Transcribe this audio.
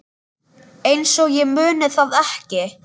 Einsog ég muni það ekki!